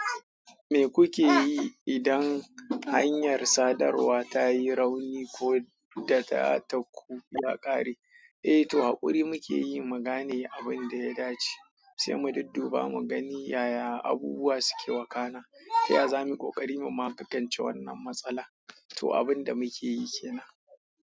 Me kuke yi idan hanyar sadarwa ta yi rauni ko da datar ku ya ƙare? Eh to, hakuri muke yi, mu gane abin da ya dace, sai mu dudduba mu gani yaya abubuwa suke wakana, ta yaya za mu ƙoƙari mu magance wannan matsala. To abin da muke yi kenan.